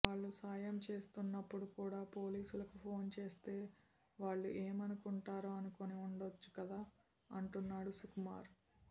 వాళ్లు సాయం చేస్తున్నపుడు కూడా పోలీసులకు ఫోన్ చేస్తే వాళ్లు ఏమనుకుంటారో అనుకుని ఉండొచ్చు కదా అంటున్నాడు సుకుమార్